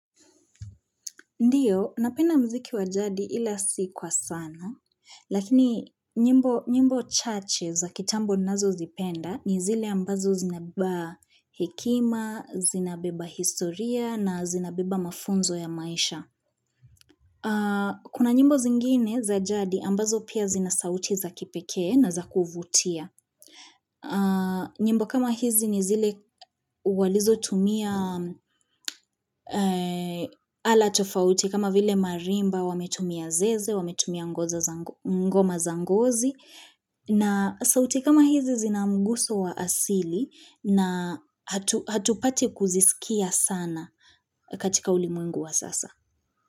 Ndiyo, napenda mziki wa jadi ila sikwa sana, lakini nyimbo chache za kitambo ninazo zipenda ni zile ambazo zinabeba hekima, zinabeba historia na zinabeba mafunzo ya maisha. Kuna nyimbo zingine za jadi ambazo pia zinasauti za kipekee na za kuvutia. Nyimbo kama hizi ni zile walizo tumia ala tofauti kama vile marimba wametumia zeze, wametumia ngoma zangozi na sauti kama hizi zinamuguso wa asili na hatupati kuzisikia sana katika ulimwengu wa sasa.